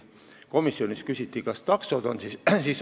Komisjonis küsiti, kas taksod on ka seal hulgas.